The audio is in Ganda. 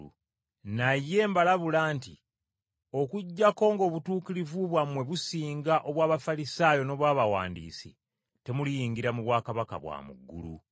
Naye mbalabula nti Okuggyako ng’obutuukirivu bwammwe businga obw’Abafalisaayo n’obw’abawandiisi, temuliyingira mu bwakabaka bwa mu ggulu.”